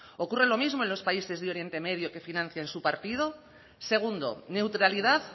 ocurre lo mismo en los países de oriente medio que financian su partido segundo neutralidad